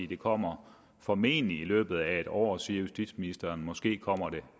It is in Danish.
det kommer formentlig i løbet af en år siger justitsministeren måske kommer det